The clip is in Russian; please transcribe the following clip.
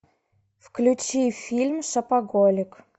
включи фильм шопоголик